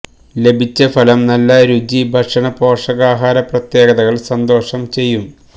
ലഭിച്ച ഫലം നല്ല രുചി ഭക്ഷണ പോഷകാഹാര പ്രത്യേകതകൾ സന്തോഷം ചെയ്യും